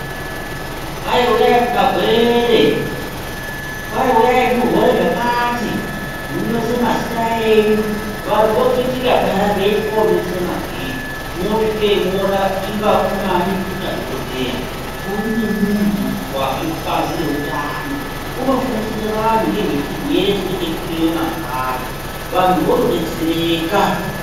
Kwai uyai kumagwere, kwai uyai muhore zvakati, munyorese mazita enyu, vantu vokhitika peya veiti koonyorese magwere mwoosvikeyo mwoona inga kune madhokodheya, kune muntu wabve kubazi rezveutano wotofundisa antu ngekuda kwechirwere chinenge chiriyo mazuwa acho vantu votodetsereka.